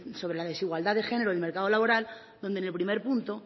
sobre la desigualdad de género en el mercado laboral donde en el primer punto